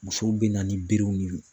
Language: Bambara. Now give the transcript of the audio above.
Musow bɛ na ni berew ni